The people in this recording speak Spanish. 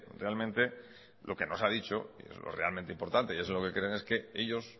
realmente lo que nos ha dicho y es lo realmente importante y es lo que creen es que ellos